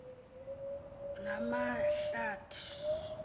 namahlathi